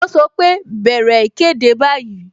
Ó sọ pé "bẹ̀rẹ̀ ìkéde báyìí"